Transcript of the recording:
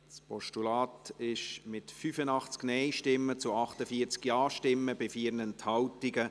Sie haben das Postulat abgelehnt, mit 48 Ja- zu 85 Nein-Stimmen bei 4 Enthaltungen.